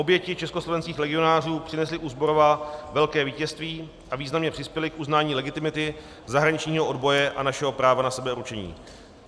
Oběti československých legionářů přinesly u Zborova velké vítězství a významně přispěly k uznání legitimity zahraničního odboje a našeho práva na sebeurčení.